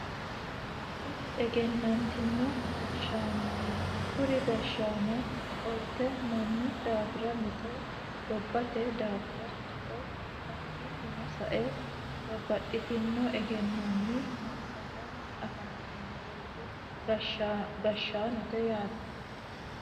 Kuri egennantino gashshaannooti kuri gashshaano qolte mannu daafira mixo gobbate daafira mixo hakkiinnino sa'e babbaxxitino egennonni massagganni afantinoreeti gashshaanote yaate.